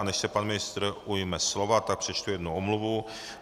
A než se pan ministr ujme slova, tak přečtu jednu omluvu.